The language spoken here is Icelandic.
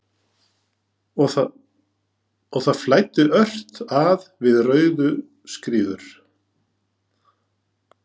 Og það flæddi ört að við Rauðuskriður.